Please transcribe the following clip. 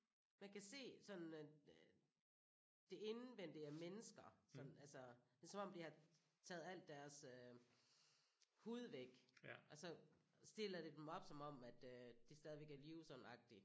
Man kan se sådan det indvendige af mennesker sådan altså det er som om de har taget alt deres øh hud væk og så stiller de dem op som om at øh de stadigvæk er i live sådan agtige